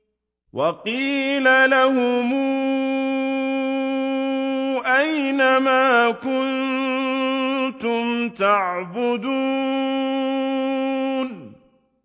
وَقِيلَ لَهُمْ أَيْنَ مَا كُنتُمْ تَعْبُدُونَ